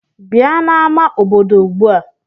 Bịa n'ámá obodo ugbu a!